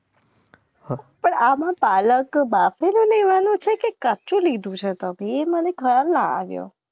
પણ આ મને પાલક બાસી ના લેવાનું છે કે કાફી લેવાનું છે એ મને કાલેન આવ્યો.